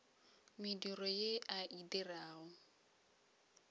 mediro ye a e dirago